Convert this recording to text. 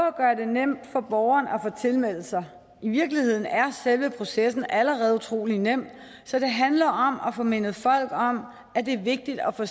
at gøre det nemt for borgeren at få tilmeldt sig i virkeligheden er selve processen allerede utrolig nem så det handler om at få mindet folk om at det er vigtigt at få